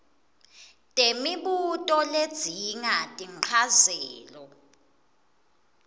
temibuto ledzinga tinchazelo